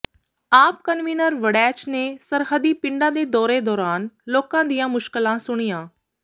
ਆਪ ਕਨਵੀਨਰ ਵੜੈਚ ਨੇ ਸਰਹੱਦੀ ਪਿਡਾਂ ਦੇ ਦੌਰੇ ਦੌਰਾਨ ਲੋਕਾਂ ਦੀਆਂ ਮੁਸ਼ਕਲਾਂ ਸੁਣੀਆਂ